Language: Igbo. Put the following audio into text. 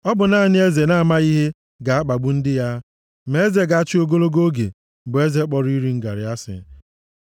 Ọ bụ naanị eze na-amaghị ihe ga-akpagbu ndị ya; ma eze ga-achị ogologo oge bụ eze kpọrọ iri ngarị asị.